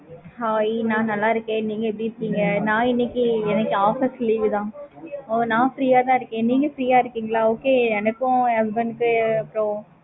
hey நா நல்ல இருக்கேன் நீங்க எப்படி இருக்கீங்க நா இன்னைக்கு எனக்கு office leave தான் நான் free ஆ தா இருக்கேன் நீங்க free ஆ இருக்கீங்களா okay எனக்கும் என் husband க்கு அப்றம்